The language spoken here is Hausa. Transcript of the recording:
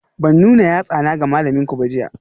Ban nuna yatsana ga malaminku ba jiya?